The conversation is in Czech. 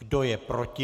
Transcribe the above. Kdo je proti?